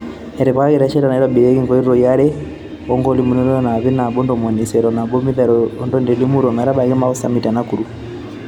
Etipikaki resheta naitobirieki nkoitoi are oo nkilomitani iip nabo oo ntomoni isiet oo nabo naiteru Rroni te Limuru oometabai Mau summit te Nakuru